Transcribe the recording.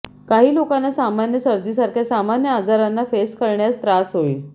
काही लोकांना सामान्य सर्दी सारख्या सामान्य आजारांना फेस करण्यास त्रास होईल